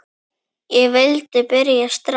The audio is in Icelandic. Ég vildi byrja strax.